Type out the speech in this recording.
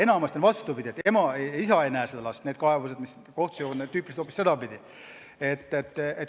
Enamasti on vastupidi, et isa ei näe last – kaebused, mis kohtusse jõuavad, on tüüpiliselt just niisugused.